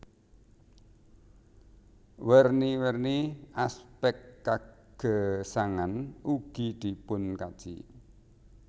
Werni werni aspek kagesangan ugi dipunkaji